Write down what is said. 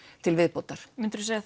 til viðbótar myndirðu segja